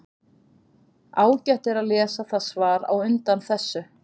Ágætt er að lesa það svar á undan þessu.